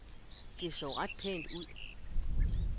Det så ret pænt ud.